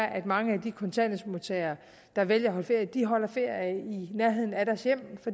at mange af de kontanthjælpsmodtagere der vælger at holde ferie holder ferie i nærheden af deres hjem